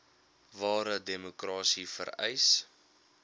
ware demokrasie vereis